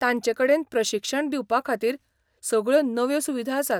तांचेकडेन प्रशिक्षण दिवपाखातीर सगळ्यो नव्यो सुविधा आसात.